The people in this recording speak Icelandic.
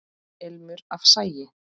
Ilmur af sagi.